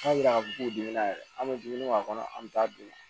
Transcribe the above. K'a jira k'a fɔ k'u bɛ na yɛrɛ an bɛ dumuni k'a kɔnɔ an bɛ taa dun